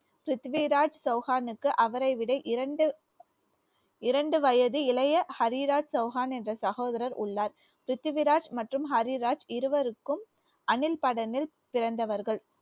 பிரித்திவிராஜ் சௌஹானுக்கு அவரை விட இரண்டு இரண்டு வயது இளைய ஹரிராஜ் சௌஹான் என்ற சகோதரர் உள்ளார் ராஜ் மற்றும் ஹரிராஜ் இருவருக்கும் அணில் படனில் பிறந்தவர்கள்